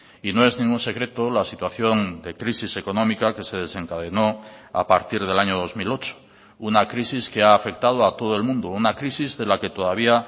y no es ningún secreto la situación de crisis económica que se desencadenó a partir del año dos mil ocho una crisis que ha afectado a todo el mundo una crisis de la que todavía